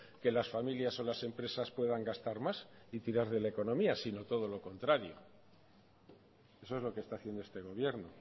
que las familias o las empresas puedan gastar más y tirar de la economía sino todo lo contrario eso es lo que está haciendo este gobierno